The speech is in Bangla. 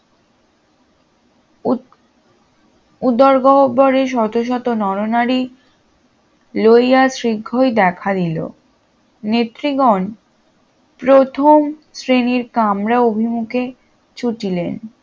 উদর গহ্বরে শত শত নরনারী লইয়া শিগ্রই দেখা দিল নেত্রীগণ প্রথম শ্রেণীর কামরা অভিমুখে ছুটিলেন